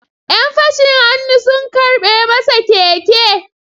‘Yan fashin hannu sun karɓe masa keke.